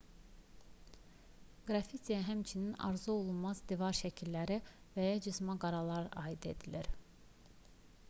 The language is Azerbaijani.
qraffitiyə həmçinin arzuolunmaz divar şəkilləri və ya cızma-qaralar aid edilir